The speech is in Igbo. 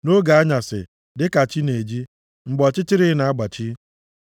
nʼoge anyasị, dịka chi na-eji, mgbe ọchịchịrị na-agbachi.